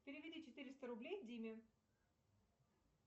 переведи четыреста рублей диме